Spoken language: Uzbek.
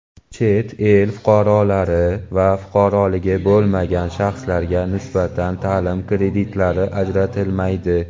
Chet el fuqarolari va fuqaroligi bo‘lmagan shaxslarga nisbatan taʼlim kreditlari ajratilmaydi.